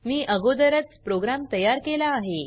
मी अगोदरच प्रोग्राम तयार केला आहे